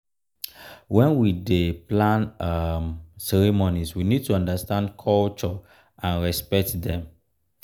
when we dey plan um ceremony we need to undertand culture and repect dem